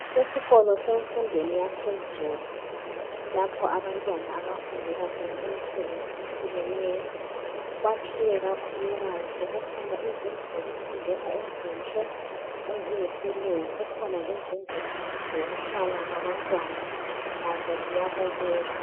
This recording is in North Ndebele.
Esikolo semfundweni yaphezulu lapha abantwana abafundela khona imisebenzi, ehlukeneyo kwakhiwa kakhulukazi kukhona izindlu zokufundela ezinhle eziyisilungu, kukhona lezindlu zokuhlala abantwana lazo ziyabukela.